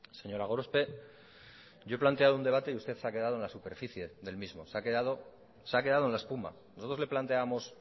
señora gorospe yo he planteado un debate y usted se ha quedado en la superficie del mismo se ha quedado en la espuma nosotros le planteábamos